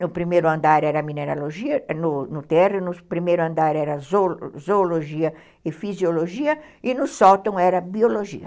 No primeiro andar era mineralogia, no no terreno, no primeiro andar era zoologia e fisiologia, e no sótão era biologia.